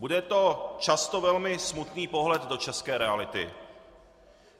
Bude to často velmi smutný pohled do české reality.